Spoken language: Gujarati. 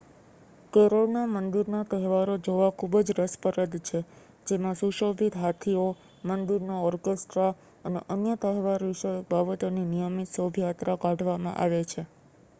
કેરળના મંદિરના તહેવારો જોવા ખૂબ જ રસપ્રદ છે જેમાં સુશોભિત હાથીઓ મંદિરના ઓરકેસ્ટ્રા અને અન્ય તહેવારવિષયક બાબતોની નિયમિત શોભાયાત્રા કાઢવામાં આવે છે